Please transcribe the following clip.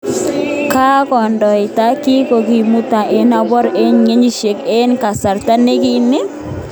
Kandoindet ni kokimukta ano kobur eng ngecheret eng kasarta nekoi ni?